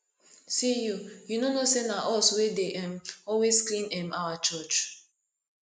see you you no know say na us wey dey um always clean um our church